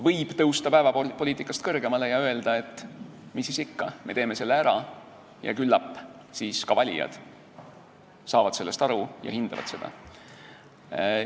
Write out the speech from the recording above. Võib tõusta päevapoliitikast kõrgemale ja öelda, et mis siis ikka, me teeme selle ära, ja küllap ka valijad saavad sellest aru ja hindavad seda.